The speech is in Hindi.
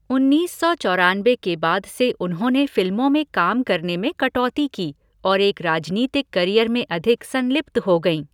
उन्नीस सौ चौरानबे के बाद से उन्होंने फिल्मों में काम करने में कटौती की और एक राजनीतिक करियर में अधिक संलिप्त हो गईं।